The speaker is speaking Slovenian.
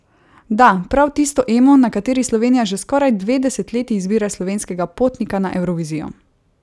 Da, prav tisto Emo, na kateri Slovenija že skoraj dve desetletji izbira slovenskega potnika na Evrovizijo!